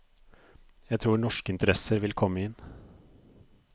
Jeg tror norske interesser vil komme inn.